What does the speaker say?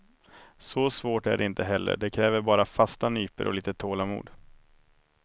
Så svårt är det inte heller, det kräver bara fasta nypor och lite tålamod.